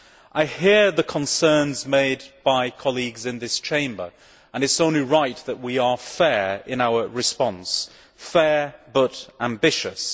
I hear the concerns made by colleagues in this Chamber and it is only right that we are fair in our response fair but ambitious.